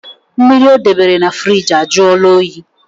Mmiri ọ debere na firigi ajụọla oyi